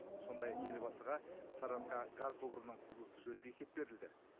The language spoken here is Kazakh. сондай ақ елбасыға сарыарқа газ құбырының құрылысы жөнінде есеп берілді